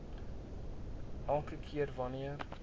elke keer wanneer